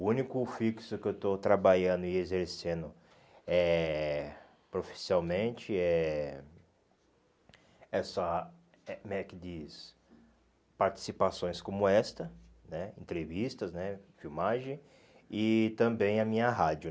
O único fixo que eu estou trabalhando e exercendo eh profissionalmente é é só como é que diz participações como esta né, entrevistas né, filmagem e também a minha rádio.